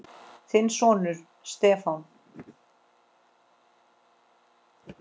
Þinn sonur, Stefán.